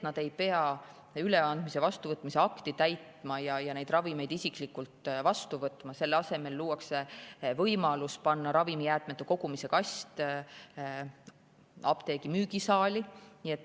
Nad ei pea enam üleandmise-vastuvõtmise akti täitma ja neid ravimeid kelleltki isiklikult vastu võtma, selle asemel luuakse võimalus panna ravimijäätmete kogumise kast apteegi müügisaali.